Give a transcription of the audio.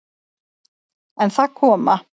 En það koma